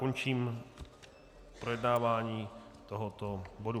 Končím projednávání tohoto bodu.